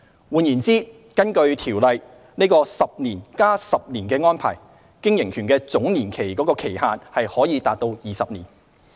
換言之，根據《條例》，藉 "10 年加10年"的安排，經營權的總年期期限可達20年。